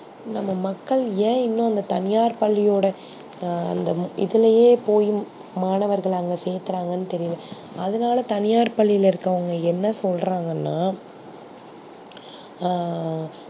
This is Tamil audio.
நம்ப மக்கள் யா இன்னும் தனியார் பள்ளியோட அந்த இதுலையே போய் மாணவர்கள அங்க செக்குராங்கனு தெர்ல அதுனால தனியார் பள்ளியில இருக்குறவங்க என்ன சொல்றங்கனா ஆ